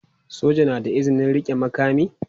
Soja na da izinin rike makami.